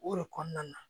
O de kɔnɔna na